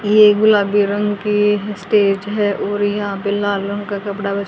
ये गुलाबी रंग की स्टेज है और यहां पे लाल रंग का कपड़ा भी--